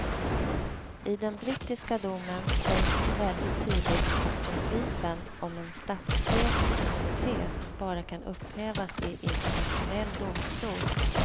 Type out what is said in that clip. I den brittiska domen sägs väldigt tydligt att principen om en statschefs immunitet bara kan upphävas i internationell domstol.